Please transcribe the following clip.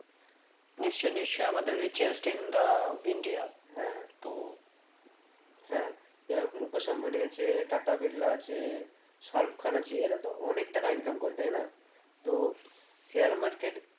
নিশ্চই নিশ্চই আমাদের richest in the India হ্যাঁ তো হ্যাঁ যাই হোক মুখেশ আম্বানি টাটা বিরলা আছে শাহরুখ খান আছে এরা তো অনেক টাকা income করে তাই না তো share market